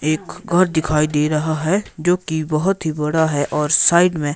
एक घर दिखाई दे रहा है जो कि बहोत ही बड़ा है और साइड में--